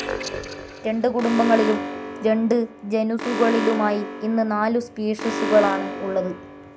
രണ്ട് കുടുംബങ്ങളിലും രണ്ടു ജനുസുകളിലുമായി ഇന്ന് നാലു സ്പീഷിസുകൾ ആണ് ഉള്ളത്.